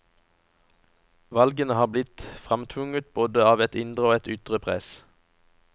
Valgene har blitt framtvunget både av et indre og et ytre press.